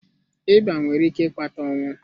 Ịba nwere ike ịkpata ọnwụ.